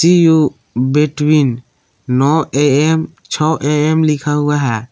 C you between नौ AM छः AM लिखा हुआ है।